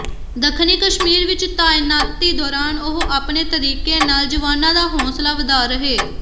ਦੱਖਣੀ ਕਸ਼ਮੀਰ ਵਿਚ ਤਾਇਨਾਤੀ ਦੌਰਾਨ ਉਹ ਆਪਣੇ ਤਰੀਕੇ ਨਾਲ ਜਵਾਨਾਂ ਦਾ ਹੌਸਲਾ ਵਧਾਅ ਰਹੇ